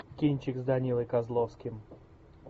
кинчик с данилой козловским